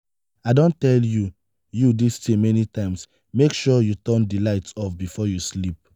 i don tell you you dis thing many times make sure you turn the light off before you sleep.